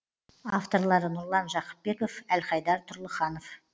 авторлары нұрлан жақыпбеков әлхайдар тұрлыханов